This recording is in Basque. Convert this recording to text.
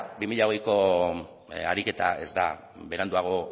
bi mila hogeiko ariketa ez da beranduago